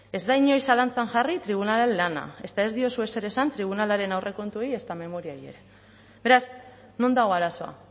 ez da inoiz zalantzan jarri tribunalaren lana ezta ez diozue ezer esan tribunalaren aurrekontuei ezta memoriei ere beraz non dago arazoa